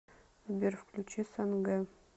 сбер включи санге